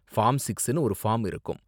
Form சிக்ஸ்னு ஒரு form இருக்கும்.